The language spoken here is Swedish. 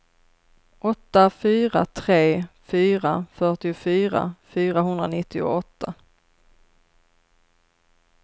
åtta fyra tre fyra fyrtiofyra fyrahundranittioåtta